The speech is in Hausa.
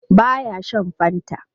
Ba ya shan Fanta.